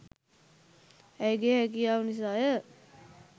ඇයගේ හැකියාව නිසාය